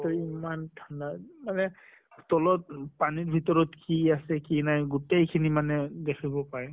তʼ ইমান ঠাণ্ডা মানে তলত পানীৰ ভিতৰত কি আছে কি নাই গোটেই খিনি মানে দেখিব পায়।